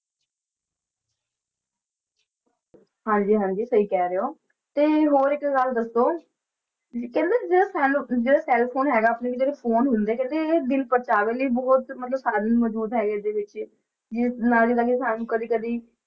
ਹਾਂਜੀ ਹਾਂਜੀ ਸਹੀ ਕਹਿ ਰਹੇ ਹੋ, ਤੇ ਹੋਰ ਇੱਕ ਗੱਲ ਦੱਸੋ, ਤੇ ਜਿਹੜਾ cell ਜਿਹੜਾ cell phone ਹੈਗਾ ਆਪਣੇ ਵੀ ਜਿਹੜੇ phone ਹੁੰਦੇ ਕਹਿੰਦੇ ਇਹ ਦਿਲ ਪ੍ਰਚਾਵੇ ਲਈ ਬਹੁਤ ਮਤਲਬ ਸਾਰੇ ਮੌਜੂਦ ਹੈਗੇ ਇਹਦੇ ਵਿੱਚ, ਜਿਵੇਂ ਸਾਨੂੰ ਕਦੇ ਕਦੇ